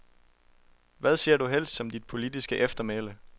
Hvad ser du helst som dit politiske eftermæle.